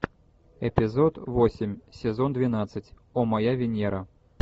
эпизод восемь сезон двенадцать о моя венера